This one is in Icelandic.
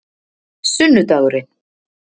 sunnudagurinn